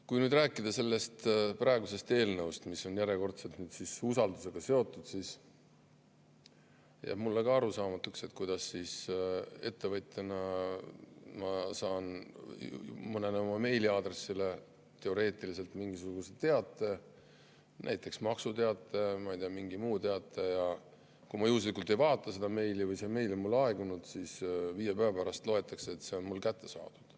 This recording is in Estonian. Rääkides nüüd sellest praegusest eelnõust, mis on järjekordselt usaldusega seotud, jääb mulle ka arusaamatuks, kuidas ma saan ettevõtjana mõnele oma meiliaadressile teoreetiliselt mingisuguse teate, näiteks maksuteate, ma ei tea, mingi muu teate ja kui ma juhuslikult ei vaata seda meili või see meili on mul aegunud, siis viie päeva pärast loetakse, et see on mul kätte saadud.